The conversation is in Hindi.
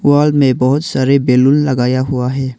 वाल में बहुत सारे बैलून लगाया हुआ है।